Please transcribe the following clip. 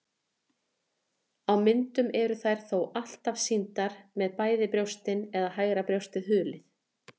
Á myndum eru þær þó alltaf sýndar með bæði brjóstin eða hægra brjóstið hulið.